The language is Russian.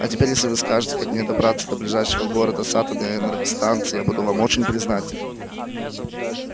а теперь если вы скажете как мне добраться до ближайшего города с атомной энергостанцией я буду вам очень признателен